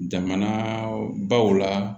Jamana baw la